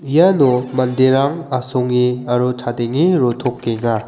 iano manderang asonge aro chadenge rotokenga.